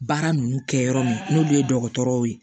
Baara ninnu kɛ yɔrɔ min n'olu ye dɔgɔtɔrɔw ye